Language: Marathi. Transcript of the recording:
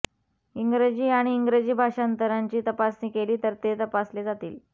इंग्रजी आणि इंग्रजी भाषांतराची तपासणी केली तर ते तपासले जातील